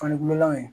Fanikololaw ye